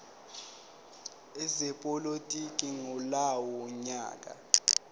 ezepolitiki ngalowo nyaka